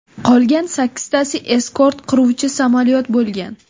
Qolgan sakkiztasi eskort qiruvchi samolyot bo‘lgan.